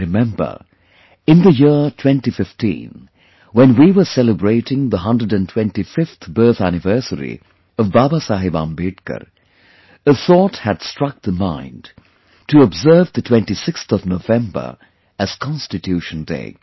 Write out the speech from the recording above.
I remember... in the year 2015, when we were celebrating the 125th birth anniversary of BabasahebAmbedkar, a thought had struck the mind to observe the 26th of November as Constitution Day